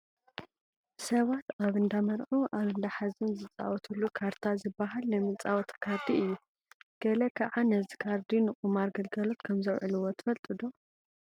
ሰባት ኣብ እንዳ መርዑ፣ ኣብ እንዳ ሓዘን ዝፃወትሉ ካርታ ዝበሃል ናይ መፃወቲ ካርዲ ኣሎ፡፡ ገለ ከዓ ነዚ ካርዲ ንቑማር ግልጋሎት ከምዘውዕልዎ ትፈልጡ ዶ?